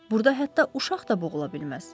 Burada hətta uşaq da boğula bilməz.